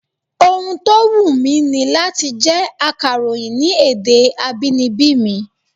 Ohun tó wùn ni láti jẹ́ akàròyìn ní èdè abínibí mi